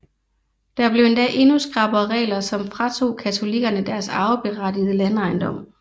Der blev endda endnu skrappere regler som fratog katolikkerne deres arveberettigede landejendom